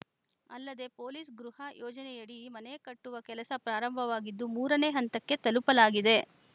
ಅಲ್ಲದೇ ಪೊಲೀಸ್‌ ಗೃಹ ಯೋಜನೆಯಡಿ ಮನೆ ಕಟ್ಟುವ ಕೆಲಸ ಪ್ರಾರಂಭವಾಗಿದ್ದು ಮೂರನೇ ಹಂತಕ್ಕೆ ತಲುಪಲಾಗಿದೆ